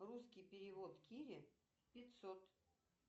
русский перевод кири пятьсот